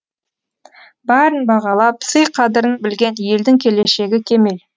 барын бағалап сый қадірін білген елдің келешегі кемел